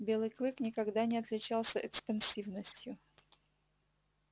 белый клык никогда не отличался экспансивностью